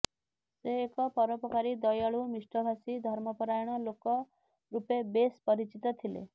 ସେ ଏକ ପରୋପକାରୀ ଦୟାଳୁ ମିଷ୍ଠଭାସୀ ଧର୍ମପରାୟଣ ଲୋକ ରୂପେ ବେସ୍ ପରିଚିତ ଥିଲେ